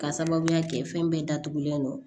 K'a sababuya kɛ fɛn bɛɛ datugulen don